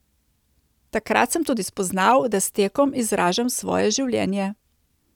Takrat sem tudi spoznal, da s tekom izražam svoje življenje.